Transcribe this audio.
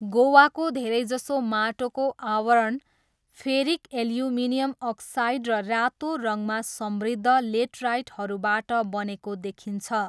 गोवाको धेरैजसो माटोको आवरण फेरिक एल्युमिनियम अक्साइड र रातो रङमा समृद्ध लेटराइटहरूबाट बनेको देखिन्छ।